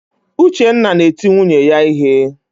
Uchenna na-eti nwunye ya ihe.